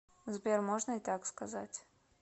сбер можно и так сказать